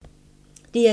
DR2